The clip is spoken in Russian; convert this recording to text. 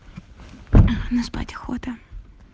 ну спать охота